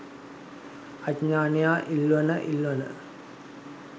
අඥානයා ඉල්වන ඉල්වන